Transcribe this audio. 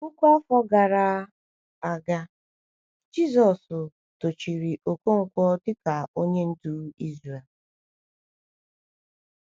Puku afọ gara aga, Jisọshụ dochiri Okonkwo dịka onye ndu Izrel.